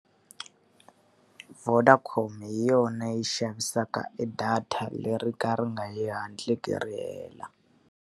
Vodacom hi yona yi xavisaka e data leri ka ri nga hatliseki ri hela.